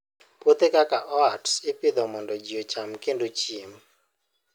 Puothe kaka oats ipidho mondo ji ocham kendo gichiem.